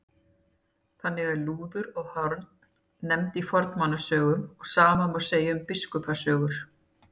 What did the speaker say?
Þannig eru lúður og horn nefnd í fornmannasögum og sama má segja um Biskupasögur.